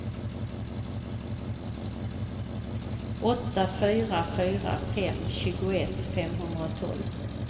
åtta fyra fyra fem tjugoett femhundratolv